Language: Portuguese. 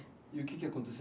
E o que que aconteceu?